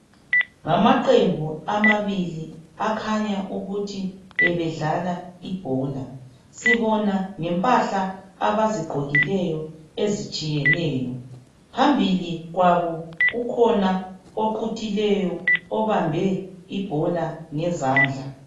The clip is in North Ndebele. Ngamaqembu amabili akhanya ukuthi ebedlala ibhola, sibona ngempahla abazigqokileyo ezitshiyeneyo. Phambili kwabo kukhona oquthileyo obambe ibhola ngezandla.